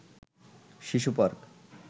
শিশু পার্ক